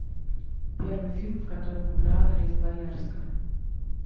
первый фильм в котором играла лиза боярская